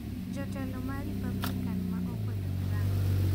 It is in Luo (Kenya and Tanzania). Jotelo ma Republican ma okwedo Trump